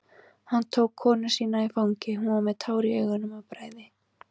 Hann tók konu sína í fangið, hún var með tár í augum af bræði.